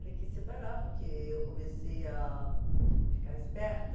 Ele quis se separar porque eu comecei a ficar esperta